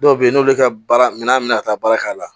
Dɔw be yen n'olu ka baara minɛn mi na ka taa baara k'a la